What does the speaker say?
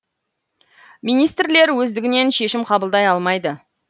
министрлер өздігінен шешім қабылдай алмайды